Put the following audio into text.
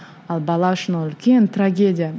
ал бала үшін ол үлкен трагедия